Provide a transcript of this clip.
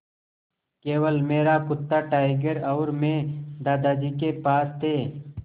केवल मेरा कुत्ता टाइगर और मैं दादाजी के पास थे